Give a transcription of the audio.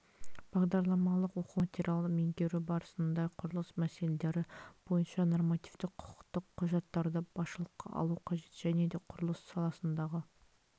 бағдарламалық оқу материалын меңгеру барысында құрылыс мәселелері бойынша нормативтік құқықтық құжаттарды басшылыққа алу қажет және де құрылыс саласындағы